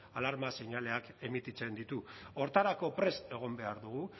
alarma seinaleak emititzen ditu horretarako prest egon behar dugu